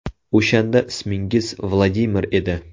O‘shanda ismingiz Vladimir edi.